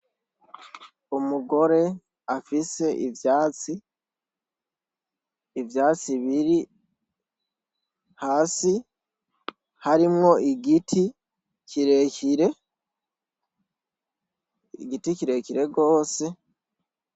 Umugore afise ivyatsi, ivyatsi biri hasi, harimwo igiti, kirekire, igiti kirekire rwose.